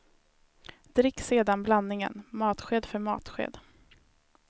Drick sedan blandningen matsked för matsked.